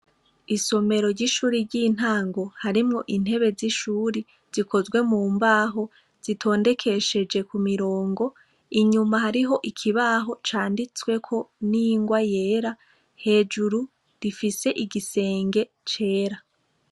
Isomero ry'ishuri ry'intango harimwo intebe z'ishuri zikozwe mu mbaho zitondekesheje ku mirongo. Inyuma hariho ikibaho candistweko n'ingwa yera, hejuru rifise igisenge cera.